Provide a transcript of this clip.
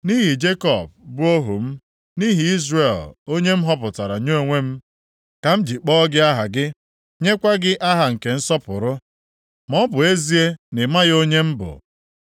Nʼihi Jekọb bụ ohu m, nʼihi Izrel onye m họpụtara nye onwe m, ka m ji kpọọ gị aha gị nyekwa gị aha nke nsọpụrụ, + 45:4 Tuo gị aha nsọpụrụ maọbụ ezie na ị maghị onye m bụ.